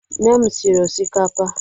Nne m sịrị ọsịkapa